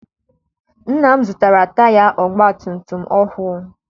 Nna m zụtara taya ọgbatumtum ọhụụ.